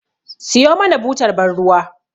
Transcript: Siyo mana butar ban ruwa